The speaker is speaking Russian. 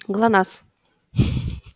глонассс